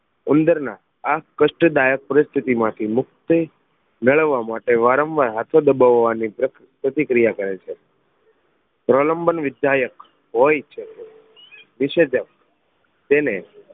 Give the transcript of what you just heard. ઉંદર ના આ કષ્ટદાયક પરિસ્થિતિ માંથી મુક્તિ મેળવા માટે વારંવાર હાથો દબવાની પ્રતિ પ્રતિક્રિયા કરે છે પ્રલંબન ની સાયક હોય છે નિષેદક તેને